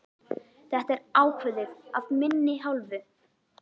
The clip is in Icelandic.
Þetta er ákveðið af minni hálfu!